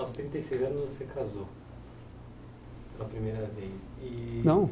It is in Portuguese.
Aos trinta e seis anos você casou pela primeira vez e. Não